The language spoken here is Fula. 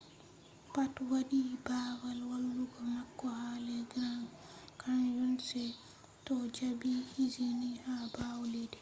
pat wadi babal walugo mako ha les grand canyon se to jabi izini ha bawo leddi